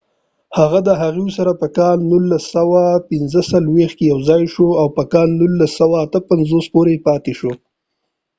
هغه د هغوي سره په 1945 کې یو ځای شو او د 1958 پورې پاتی شو